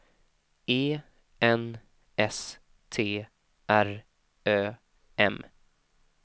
E N S T R Ö M